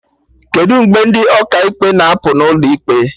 Kedụ mgbe ndị Ọkaikpe na apụ n'ụlọ ikpe?